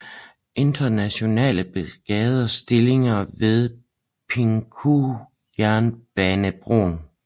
Internationale Brigades stillinger ved Pindoque jernbanebroen